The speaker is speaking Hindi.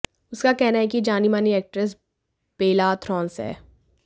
उसका कहना है कि ये जानी मानी एक्ट्रेस बेला थ्रोन्स हैं